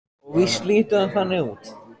Og víst lítur það þannig út.